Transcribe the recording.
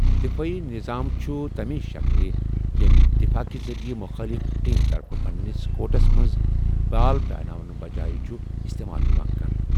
دِفٲعی نظام چھِ تَمۍ شکلہٕ ییٚمۍ دِفاع کہِ ذٔریعہٕ مُخٲلف ٹیمہِ طرفہٕ پنِنس کورٹَس منٛز بال پیاناونہٕ بچٲے چھُ استعمال یِوان کرنہٕ۔